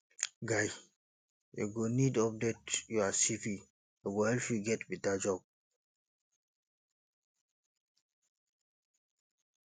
guy you go need update your cv e go help you get beta job